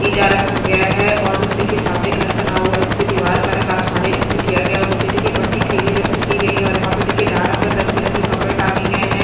इटा रखा गया है और देखिये सामने घर बना हुआ है इसपे दीवार का रंग आसमानी रंग से किया गया और नीचे देखिये पट्टी क्रीमी रंग से की गयी है और यहाँ पर देखिये डारा पर रंग बिरंगी कपड़े टांगे गए है।